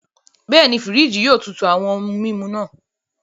Bẹẹni, firiji yẹn yóò tútù awọn ohùn mímu náà.